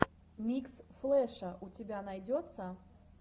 микс флэша у тебя найдется